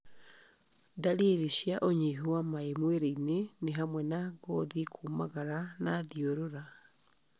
Ndariri cia ũnyihu wa maĩ mwĩrĩ-inĩ nĩ hamwe na ngothi kũmagara na thiũrũra